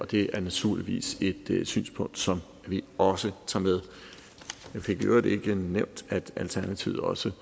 det er naturligvis et synspunkt som vi også tager med jeg fik i øvrigt ikke nævnt at alternativet også